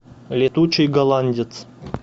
летучий голландец